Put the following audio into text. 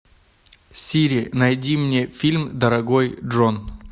сири найди мне фильм дорогой джон